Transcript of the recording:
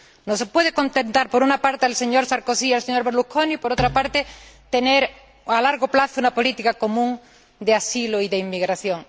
No se puede contentar por una parte al señor Sarkozy y al señor Berlusconi, y, por otra parte, tener a largo plazo una política común de asilo y de inmigración.